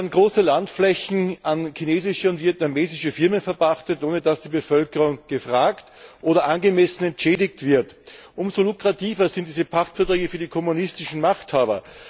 In Laos werden große Landflächen an chinesische und vietnamesische Firmen verpachtet, ohne dass die Bevölkerung gefragt oder angemessen entschädigt wird. Umso lukrativer sind diese Pachtverträge für die kommunistischen Machthaber.